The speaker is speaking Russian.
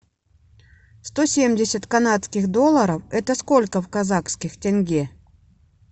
сто семьдесят канадских долларов это сколько в казахских тенге